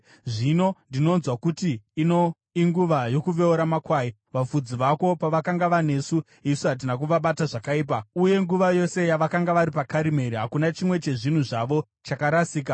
“ ‘Zvino ndinonzwa kuti ino inguva yokuveura makwai. Vafudzi vako pavakanga vanesu, isu hatina kuvabata zvakaipa, uye nguva yose yavakanga vari paKarimeri hakuna chimwe chezvinhu zvavo chakarasika.